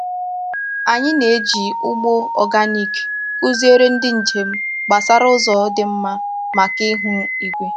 Anyị na-eji ugbo oganik kụziere ndị njem gbasara ụzọ dị mma maka ihu igwe.